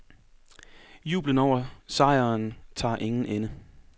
Jubelen over sejeren tager ingen ende.